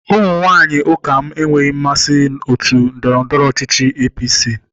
Ụmụ nwanyị ụka lm enweghị nmasị otu ndọrọndọrọ ọchịchị APC.